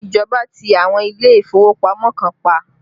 Ìjọba ti àwọn ilé ìfowópamọ́ kan pa